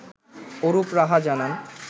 অরুপ রাহা জানান